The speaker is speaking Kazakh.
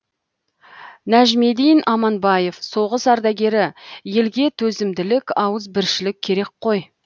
нәжмедин аманбаев соғыс ардагері елге төзімділік ауызбіршілік керек қой